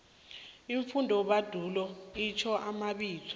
iimfundobandulo itjho amabizo